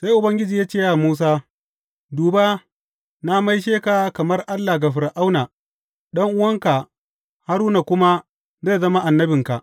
Sai Ubangiji ya ce wa Musa, Duba, na maishe ka kamar Allah ga Fir’auna, ɗan’uwanka Haruna kuma zai zama annabinka.